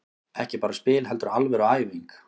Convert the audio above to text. Ekki bara spil heldur alvöru æfing.